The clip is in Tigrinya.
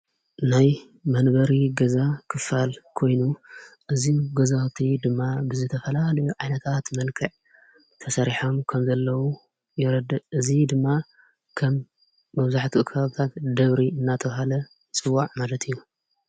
ናይ መንበሪ ገዛ ክፋል ኮይኑ እዙ ጐዛቲ ድማ ብዘተፈላን ዓነታኣት መልከዕ ተሠሪሖም ከምዘለዉ የረድ እዙ ድማ ከም መብዙሕቲ ኽብታት ደብሪ እናተዉሃለ ጽዋዕ ማለት እዩ።